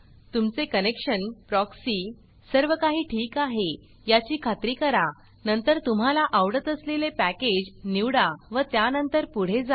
तुमचे connection proxy सर्वकाही ठीक आहे याची खात्री करा नंतर तुम्हाला आवडत असलेले पॅकेज नीवडा व त्यानंतर पुढे जा